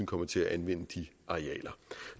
kommer til at anvende de arealer